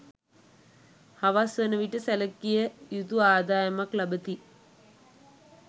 හවස් වන විට සැලකිය යුතු ආදායමක් ලබති.